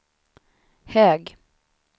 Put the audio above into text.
hög